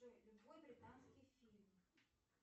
джой любой британский фильм